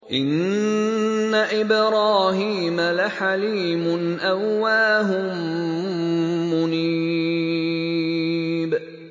إِنَّ إِبْرَاهِيمَ لَحَلِيمٌ أَوَّاهٌ مُّنِيبٌ